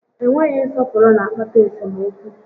Enweghị nsọpụrụ na akpata esemokwu